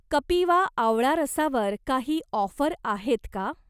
कपिवा आवळा रसावर काही ऑफर आहेत का?